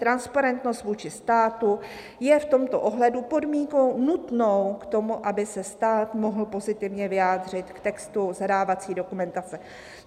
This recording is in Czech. Transparentnost vůči státu je v tomto ohledu podmínkou nutnou k tomu, aby se stát mohl pozitivně vyjádřit k textu zadávací dokumentace."